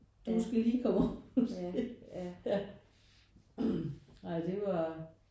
Du skal lige komme over ja ej det var